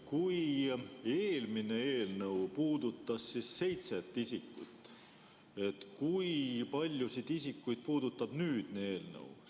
Kui eelmine eelnõu puudutas seitset isikut, siis kui paljusid isikuid puudutab nüüd see eelnõu?